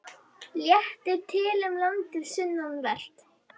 Léttir til um landið sunnanvert